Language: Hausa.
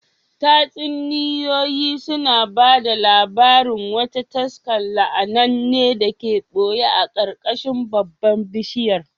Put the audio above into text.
Tatsuniyoyi sun ba da labarin wata taska la’ananne da ke ɓoye a ƙarƙashin babban bishiyar